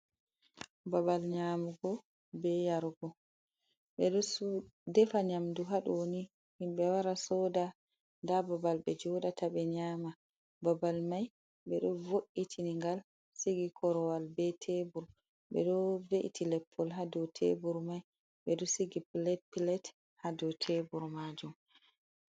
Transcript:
Babal nyamugo be yarugo, ɓe ɗo defa nyamdu ha ɗoni himɓe wara sooda, nda babal be joɗata ɓe nyama, babal mai ɓe ɗo vo’itina ngal sigi korowal be tebur, ɓe ɗo ve’iti leppol ha dou tebur mai, ɓe ɗo sigi pilate ha dou tebur maajum.